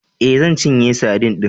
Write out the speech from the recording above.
E, zan cinye sadin din.